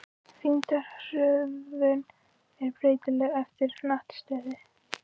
Þyngdarhröðun er breytileg eftir hnattstöðu.